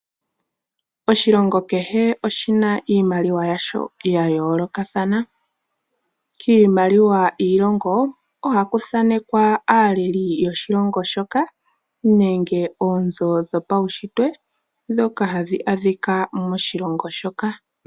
Oshilongo kehe iimaliwa yasho ya yoolokathana. Kiimaliwa yiilongo ohaku thaanekwa aaleli yoshilongo shoka nenge oonzo dhopaunshitwe dhoka hadhi adhika moshilongo shoka.